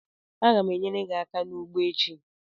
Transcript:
Agam enyere gi aka n'ugbo echi